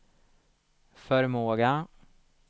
förmåga